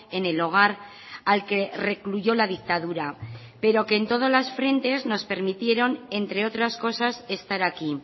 en el hogar al que recluyó la dictadura pero que en todos los frentes nos permitieron entre otras cosas estar aquí